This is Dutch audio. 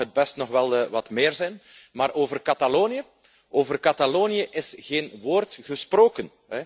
Al mag het best nog wel wat meer zijn. Maar over Catalonië, over Catalonië is geen woord gesproken.